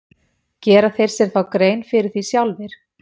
Gera þeir sér þá grein fyrir því sjálfir?